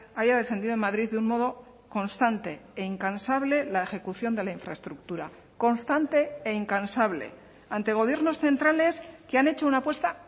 haya defendido en madrid de un modo constante e incansable la ejecución de la infraestructura constante e incansable ante gobiernos centrales que han hecho una apuesta